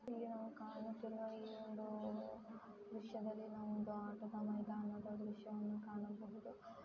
ಇಲ್ಲಿ ನಾವು ಕಾಣುತ್ತಿರುವ ಈ ಒಂದು ವಿಷಯದಲ್ಲಿ ನಾವು ಒಂದು ಆಟದ ಮೈದಾನದ ವಿಷಯವನ್ನು ಕಾಣಬಹುದು ಕಾಣಬಹುದು.